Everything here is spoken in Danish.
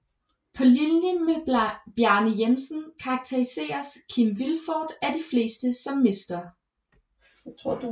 På linje med Bjarne Jensen karakteriseres Kim Vilfort af de fleste som Mr